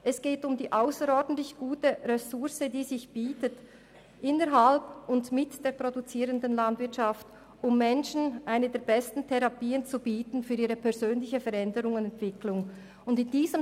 Es geht um die ausserordentlich gute Ressource, die sich innerhalb und mit der produzierenden Landwirtschaft bietet, um Menschen für ihre persönliche Veränderung und Entwicklung eine der besten Therapien zu bieten.